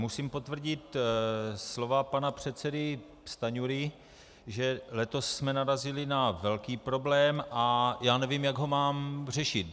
Musím potvrdit slova pana předsedy Stanjury, že letos jsme narazili na velký problém a já nevím, jak ho mám řešit.